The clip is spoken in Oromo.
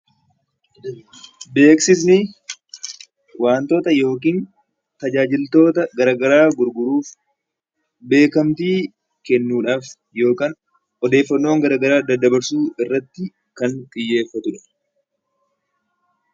Beeksisni waantota yookiin tajaajiltoota gara garaa gurguruuf, beekamtii kennuudhaafis yookaan odeeffannoowwan gara garaa dabarsuu irratti kan xiyyeeffatudha.